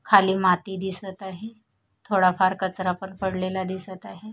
खाली माती दिसत आहे थोडाफार कचरा पण पडलेला दिसत आहे.